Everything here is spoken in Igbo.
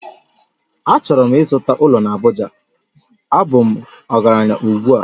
Achọrọ m ịzụta ụlọ na Abuja, a bụ m ọgaranya ugbu a